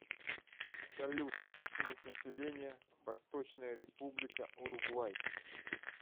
салют численность населения восточная республика уругвай